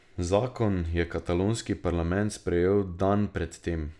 Zakon je katalonski parlament sprejel dan pred tem.